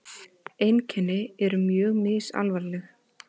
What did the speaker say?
Einkenni eru mjög misalvarleg.